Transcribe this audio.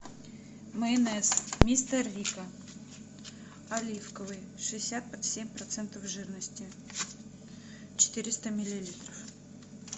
майонез мистер рикко оливковый шестьдесят семь процентов жирности четыреста миллилитров